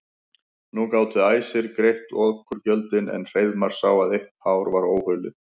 Nú gátu æsir greitt oturgjöldin en Hreiðmar sá að eitt hár var óhulið.